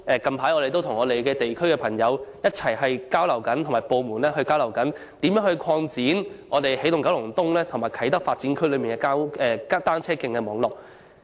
近期，我們正與地區的朋友和相關部門交流，研究如何擴展起動九龍東及啟德發展區的單車徑網絡。